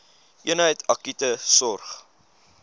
eenheid akute sorg